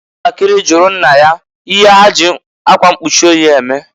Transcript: Nwantakiri jụrụ nna ya ihe ha ji akwa nkpuchi oyi eme.